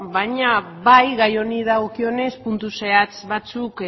baina bai gai honi dagokionez puntu zehatz batzuk